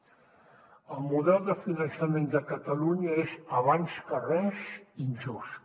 el model de finançament que catalunya és abans que res injust